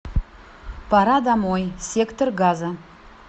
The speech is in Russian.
пора домой сектор газа